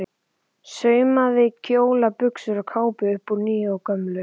Saumaði kjóla, buxur og kápur upp úr nýju og gömlu.